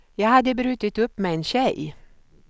Jag hade brutit upp med en tjej.